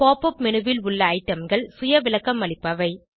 pop up menu ல் உள்ள ஐடம்கள் சுய விளக்கம் அளிப்பவை